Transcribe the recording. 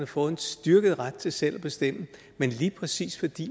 fået en styrket ret til selv at bestemme men lige præcis fordi